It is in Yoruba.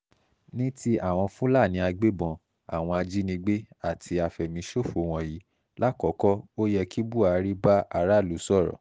ní ti àwọn fúlàní agbébọn àwọn ajinígbé àti àfẹ̀míṣòfò wọ̀nyí lákòókò ó yẹ kí buhari bá aráàlú sọ̀rọ̀